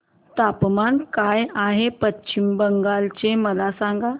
तापमान काय आहे पश्चिम बंगाल चे मला सांगा